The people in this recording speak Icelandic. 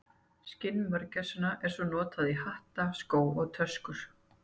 Skinn mörgæsanna var svo notað í hatta, skó og töskur.